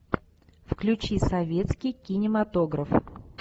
включи советский кинематограф